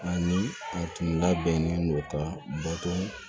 Ani a tun labɛnnen don ka bɔtɔn